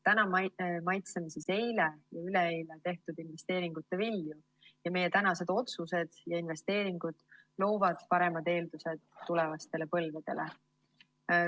Täna maitseme eile ja üleeile tehtud investeeringute vilju ning meie tänased otsused ja investeeringud loovad paremad eeldused tulevastele põlvedele.